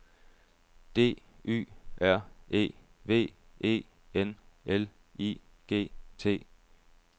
D Y R E V E N L I G T